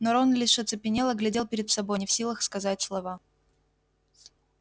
но рон лишь оцепенело глядел перед собой не в силах сказать слова